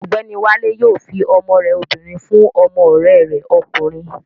Ọ̀gbẹ́ni Wálé yóò fi ọmọ rẹ obìnrin fún ọmọ ọ̀rẹ́ rẹ̀ ọkùnrin